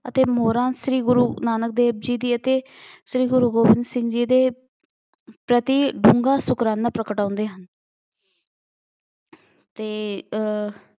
ਅਤੇ ਮੋਹਰਾਂ ਸ਼੍ਰੀ ਗੁਰੂ ਨਾਨਕ ਦੇਵ ਜੀ ਦੀ ਅਤੇ ਸ਼੍ਰੀ ਗੁਰੂ ਗੋਬਿੰਦ ਸਿੰਘ ਜੀ ਦੇ ਪ੍ਰਤੀ ਡੂੰਘਾ ਸ਼ੁਕਰਾਨਾ ਪ੍ਰਗਟਾਉਂਦੇ ਹਨ। ਅਤੇ ਅਹ